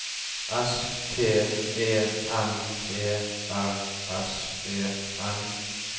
S T E N E R S E N